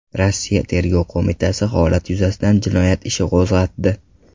Rossiya Tergov qo‘mitasi holat yuzasidan jinoyat ishi qo‘zg‘atdi.